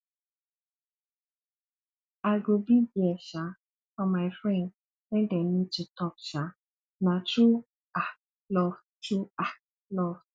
i go be there um for my friend wen dem need to talk um na true um love true um love